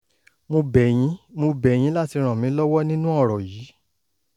mo bẹ̀ yín mo bẹ̀ yín láti ràn mí lọ́wọ́ nínú ọ̀rọ̀ yìí